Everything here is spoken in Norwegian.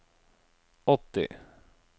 åtti